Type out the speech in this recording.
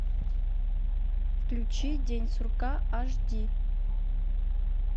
включи день сурка аш ди